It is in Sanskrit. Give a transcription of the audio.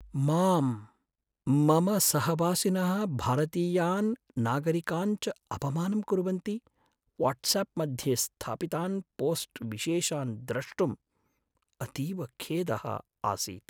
मां, मम सहवासिनः भारतीयान् नागरिकान् च अपमानं कुर्वन्ति वाट्साप् मध्ये स्थापितान् पोस्ट् विशेषान् द्रष्टुम् अतीव खेदः आसीत्।